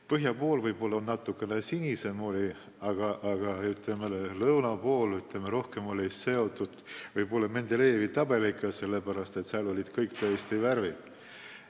Põhja pool oli vesi võib-olla natuke sinisem, aga lõuna pool oli see rohkem seotud Mendelejevi tabeliga – seal olid tõesti kõik värvid esindatud.